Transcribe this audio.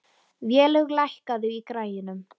Vélaug, lækkaðu í græjunum.